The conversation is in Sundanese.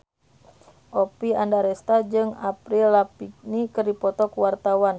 Oppie Andaresta jeung Avril Lavigne keur dipoto ku wartawan